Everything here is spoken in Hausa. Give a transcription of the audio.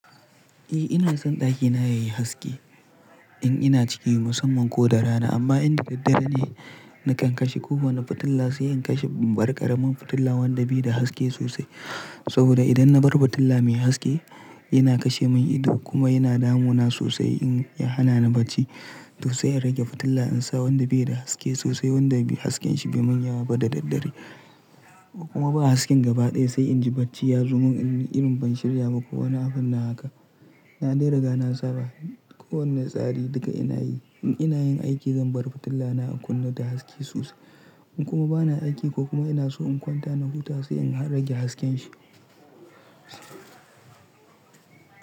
Eh ina son ɗakina yayi haske in ina ciki musamman ko da rana amma inda daddare ne nakan kashe kowane fitila sai in kashe barkaramin fitila wanda bai da haske sosai. Saboda idan na bar fitila mai haske yana kashe mun ido kuma yana damuna sosai in ya hana ni bacci. To sai in rage fitila in sa wanda bai da haske sosai wanda hasken shi bai wani yawa ba da daddare kuma in ba haske gaba ɗaya sai inji bacci ya zo mun in ban shirya ma ko wane abun nan haka. Na dai riga na saba kowane tsari duka ina yi. In ina yin aiki zan bar fitila na in kunna ta haske sosai in kuma bana aiki ko kuma ina so in kwanta na huta sai in rage hasken shi.